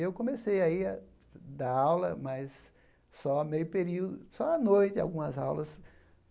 Eu comecei aí a dar aula, mas só meio período só à noite algumas aulas.